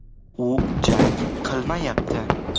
U jang qilmayapti’.